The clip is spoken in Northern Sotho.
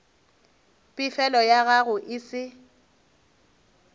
pefelo ya gago e se